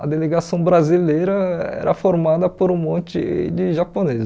A delegação brasileira era formada por um monte de japoneses.